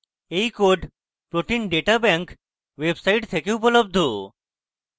এই code protein data bank website থেকে উপলব্ধ